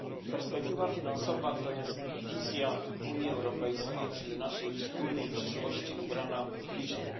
Perspektywa finansowa to jest wizja Unii Europejskiej, czyli naszej wspólnej przyszłości, ubrana w liczby.